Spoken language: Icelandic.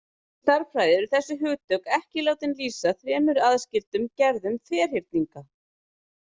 Í stærðfræði eru þessi hugtök ekki látin lýsa þremur aðskildum gerðum ferhyrninga.